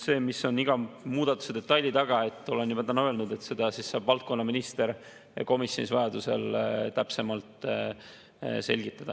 See, mis on iga muudatuse detaili taga – olen juba täna öelnud, et seda saab valdkonnaminister komisjonis vajadusel täpsemalt selgitada.